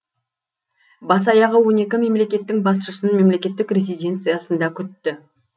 бас аяғы он екі мемлекеттің басшысын мемлекеттік резиденциясында күтті